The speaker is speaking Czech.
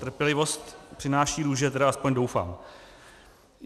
Trpělivost přináší růže, tedy aspoň doufám.